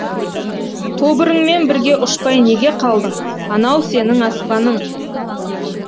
тобырыңмен бірге ұшпай неге қалдың анау сенің аспаның